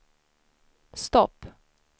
stopp